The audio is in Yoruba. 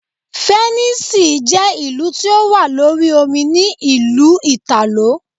Fẹ̀nísìì je ìlú tí ó wà lórí omi ní ìlú Ìtàló.